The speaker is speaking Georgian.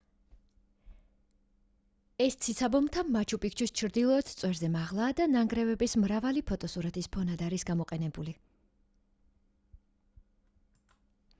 ეს ციცაბო მთა მაჩუ პიქჩუს ჩრდილოეთ წვერზე მაღლაა და ნანგრევების მრავალი ფოტოსურათის ფონად არის გამოყენებული